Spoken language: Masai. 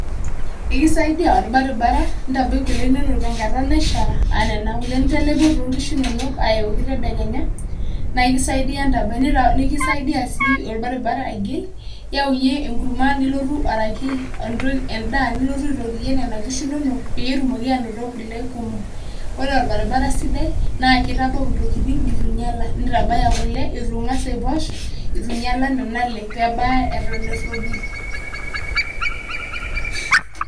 ekisaidia olbaribara intabai kule inono tenkata naisha ena nena kule nitalepuo to nkishu inonok ayoki tedekenya na ikisaidia ntabai ekisai sii olbaribara agil iyau iyie enkurma araki endaa nilotu aitotie inkishu inonok petumoki anoto kule kumok ore olbaribara sidai na kitabu intokitin eton etu inyiala nitabaya kule eton etu ingas aiposh pebaya nena ale eton eropil.